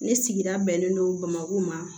Ne sigida bɛnnen don bamako ma